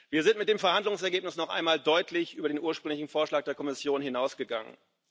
Wir sind mit dem Verhandlungsergebnis noch einmal deutlich über den ursprünglichen Vorschlag der Kommission hinausgegangen.